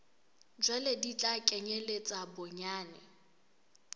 jwalo di tla kenyeletsa bonyane